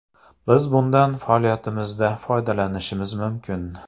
Biz bundan faoliyatimizda foydalanishimiz mumkin.